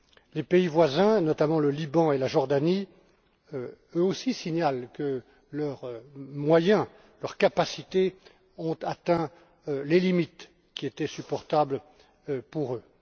Les pays voisins, notamment le Liban et la Jordanie, eux aussi, signalent que leurs moyens et leurs capacités ont atteint les limites qui étaient supportables pour eux.